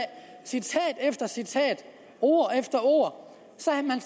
citat efter citat ord efter ord